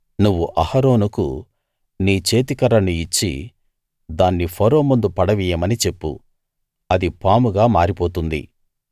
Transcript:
నువ్వు అహరోనుకు నీ చేతికర్రను ఇచ్చి దాన్ని ఫరో ముందు పడవెయ్యమని చెప్పు అది పాముగా మారిపోతుంది